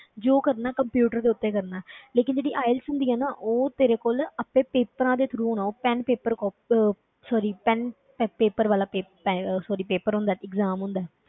ਜੋ ਕਰਨਾ ਹੈ computer ਦੇ ਉੱਤੇ ਕਰਨਾ ਹੈ ਲੇਕਿੰਨ ਜਿਹੜੀ IELTS ਹੁੰਦੀ ਹੈ ਨਾ ਉਹ ਤੇਰੇ ਕੋਲ ਆਪੇ papers ਦੇ through ਹੋਣਾ pen paper ਕਾ~ ਅਹ sorry pen paper ਵਾਲਾ ਪੇ~ ਪੈ~ ਅਹ sorry paper ਹੁੰਦਾ ਹੈ exam ਹੁੰਦਾ ਹੈ।